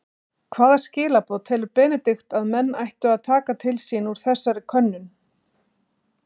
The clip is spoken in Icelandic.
Hvaða skilaboð telur Benedikt að menn ættu að taka til sín úr þessari könnun?